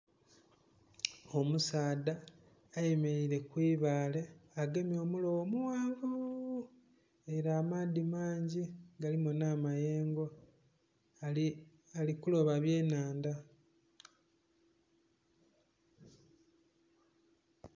Omusaadha ayemereire ku ibaale agemye omulobo omughanvu...nga amaadhi mangi galimu n'amayengo ali kuloba eby'enhandha.